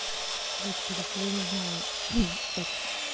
привет ещё раз я не знаю как